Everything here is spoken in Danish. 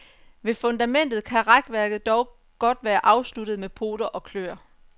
Ved fundamentet kan rækværket dog godt være afsluttet med poter og klør.